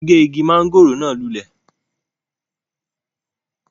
wọ́n gé Igi mọ́ngòrò náà lulẹ̀